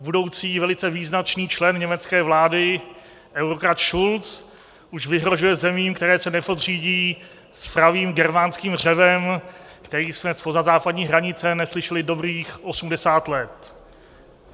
Budoucí velice význačný člen německé vlády eurokrat Schulz už vyhrožuje zemím, které se nepodřídí, s pravým germánským řevem, který jsme zpoza západní hranice neslyšeli dobrých 80 let.